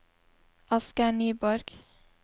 Asgeir Nyborg